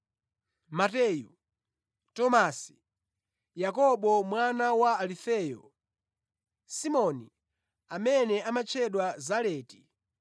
Mateyu, Tomasi, Yakobo mwana wa Alufeyo, Simoni amene amatchedwa Zaleti,